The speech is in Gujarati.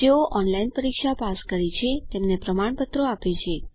જેઓ ઓનલાઇન પરીક્ષા પાસ કરે છે તેમને પ્રમાણપત્ર આપે છે